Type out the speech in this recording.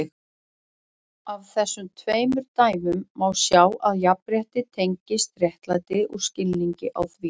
Af þessum tveimur dæmum má sjá að jafnrétti tengist réttlæti og skilningi á því.